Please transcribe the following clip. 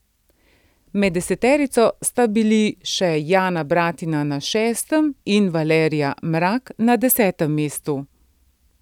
Med deseterico sta bili še Jana Bratina na šestem in Valerija Mrak na desetem mestu.